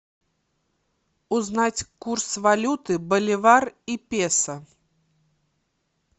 узнать курс валюты боливар и песо